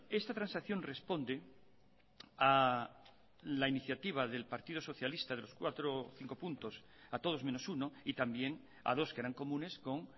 esta transacción responde a la iniciativa del partido socialista de los cuatro o cinco puntos a todos menos uno y también a dos que eran comunes con